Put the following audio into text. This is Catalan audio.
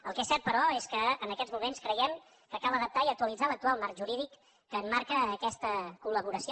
el que és cert però és que en aquests moments creiem que cal adaptar i actualitzar l’actual marc jurídic que emmarca aquesta collaboració